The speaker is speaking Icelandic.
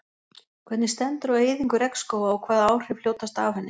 Hvernig stendur á eyðingu regnskóga og hvaða áhrif hljótast af henni?